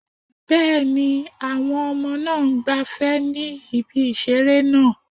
Bẹ́ẹ̀ni, àwọn ọmọ náà ń gbafẹ́ ní ibi ìseré náà